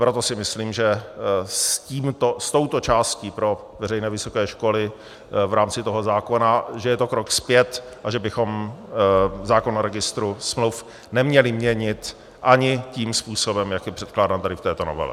Proto si myslím, že s touto částí pro veřejné vysoké školy v rámci toho zákona, že je to krok zpět a že bychom zákon o registru smluv neměli měnit ani tím způsobem, jak je předkládán tady v této novele.